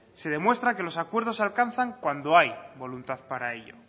se demuestra que los acuerdos se alcanzan cuando hay voluntad para ello